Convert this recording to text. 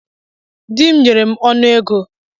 Dị m nyere m ọnụ ego.